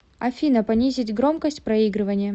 афина понизить громкость проигрывания